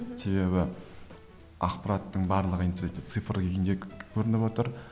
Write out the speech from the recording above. себебі ақпараттың барлығы интернетте цифр күйінде көрініп отыр